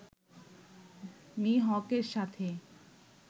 Me. হকের সাথে